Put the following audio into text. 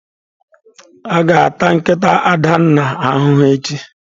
A ga-ata nkịta Adanna ahụhụ echi.